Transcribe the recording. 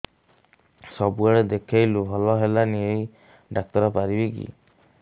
ସବୁଆଡେ ଦେଖେଇଲୁ ଭଲ ହେଲାନି ଏଇ ଡ଼ାକ୍ତର ପାରିବେ କି